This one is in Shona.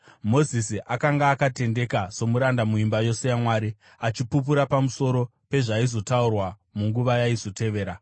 Mozisi akanga akatendeka somuranda muimba yose yaMwari, achipupura pamusoro pezvaizotaurwa munguva yaizotevera.